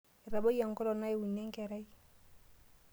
Etabayie engolong naiwuni enkerai.